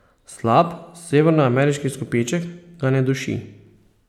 Slab severnoameriški izkupiček ga ne duši.